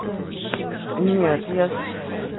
нет я с